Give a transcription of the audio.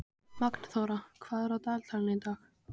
Magnþóra, hvað er á dagatalinu í dag?